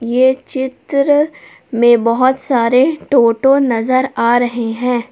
ये चित्र में बहोत सारे टोटो नजर आ रहे हैं।